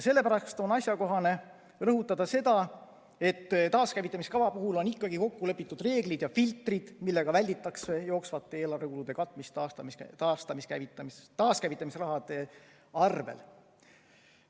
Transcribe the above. Sellepärast on asjakohane rõhutada, et taaskäivitamise kava puhul on ikkagi kokku lepitud reeglid ja filtrid, millega välditakse jooksvate eelarvekulude katmist taaskäivitamise raha arvel.